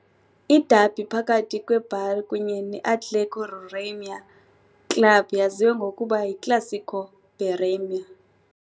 Iderby phakathi kweBaré kunye ne-Atlético Roraima Clube yaziwa ngokuba yiClássico Bareima.